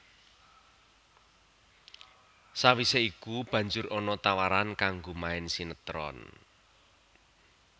Sawisé iku banjur ana tawaran kanggo main sinétron